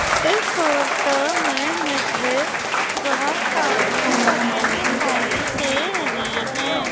इस फोटो में मुझे बहोत सारी बसे दिखाई दे रही हैं।